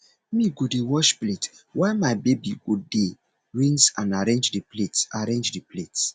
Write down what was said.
me go dey wash plate while my baby go dey rinse and arrange di plates arrange di plates